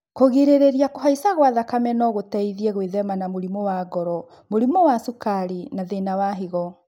Kũgirĩrĩria kũhaica gwa thakame no gũteithie gwĩthema na mũrimũ wa ngoro, mũrimũ wa cukari, na thĩna wa higo